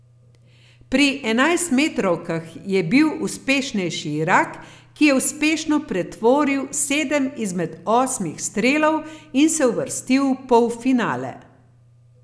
Pri enajstmetrovkah je bil uspešnejši Irak, ki je uspešno pretvoril sedem izmed osmih strelov in se uvrstil v polfinale.